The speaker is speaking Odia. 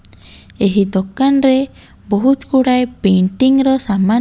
ଏହି ଦୋକାନ୍ ରେ ବୋହୁତ୍ ଗୁଡ଼ାଏ ପେଣ୍ଟିଙ୍ଗ୍ ର ସାମାନ --